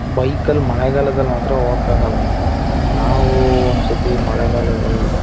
bike ಲ್ ಮಳೆಗಾಲದಲ್ಲಿ ಮಾತ್ರ ಹೋಗಕ್ಕೆ ಆಗೋಲ್ಲ ನಾವು ಒಂದ್ ಸತಿ ಮಳೆಗಾಲದಲ್ಲಿ--